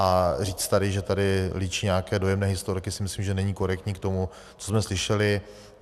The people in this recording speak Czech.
A říct tady, že tady líčí nějaké dojemné historky, si myslím, že není korektní k tomu, co jsme slyšeli.